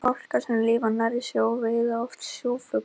fálkar sem lifa nærri sjó veiða oft sjófugla